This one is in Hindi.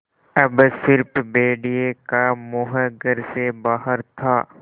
अब स़िर्फ भेड़िए का मुँह घर से बाहर था